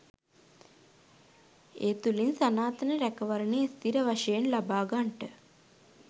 ඒ තුළින් සනාතන රැකවරණය ස්ථිර වශයෙන් ලබාගන්ට